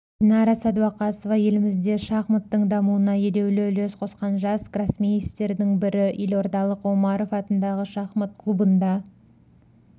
динара сәдуақасова елімізде шахматтың дамуына елеулі үлес қосқан жас гроссмейстерлердің бірі елордалық омаров атындағы шахмат клубында